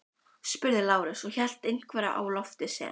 spurði Lárus og hélt einhverju á lofti sem